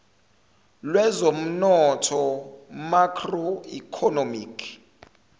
lwezomnotho macro economic